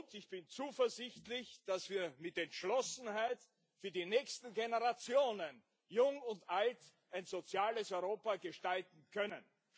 Ich bin zuversichtlich, dass wir mit Entschlossenheit für die nächsten Generationen Jung und Alt ein soziales Europa gestalten können.